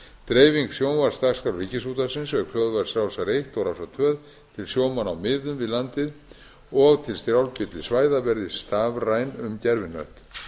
dreifing sjónvarpsdagskrár ríkisútvarpsins auk hljóðvarps rásar eitt og rásar tvö til sjómanna á miðum við landið fjórða stjórn milli svæða verði stafræn um gervihnött